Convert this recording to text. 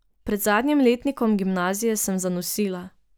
Pred zadnjim letnikom gimnazije sem zanosila.